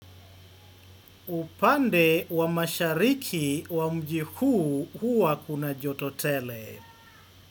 Upande wa mashariki wa mji huu hua kuna joto tele.